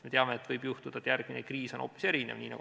Me teame, et võib juhtuda, et järgmine kriis on hoopis erinev.